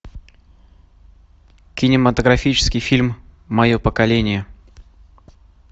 кинематографический фильм мое поколение